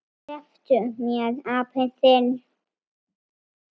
SLEPPTU MÉR, APINN ÞINN!